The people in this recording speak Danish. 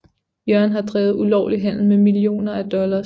Jørgen har drevet ulovlig handel med millioner af dollars